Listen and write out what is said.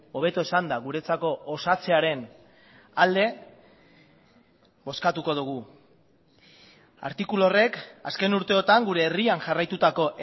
hobeto esanda guretzako osatzearen alde bozkatuko dugu artikulu horrek azken urteotan gure herrian jarraitutako